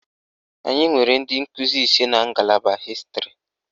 Anyị nwere ndị nkụzi ise n'a ngalaba hịstịrị